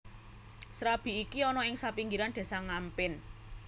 Srabi iki ana ing sapinggiran Désa Ngampin